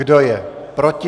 Kdo je proti?